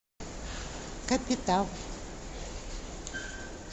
капитал